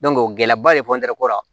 gɛlɛyaba de ko la